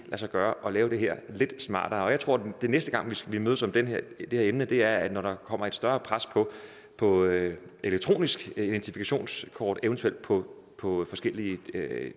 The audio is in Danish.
sig gøre at lave det her lidt smartere jeg tror at næste gang vi mødes om det her emne bliver når der kommer større pres på at få elektronisk identifikationskort eventuelt på på forskellige